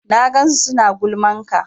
Na gansu suna gulman ka